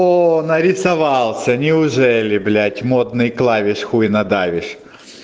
оо нарисовался неужели блять модный клавиш хуй надавишь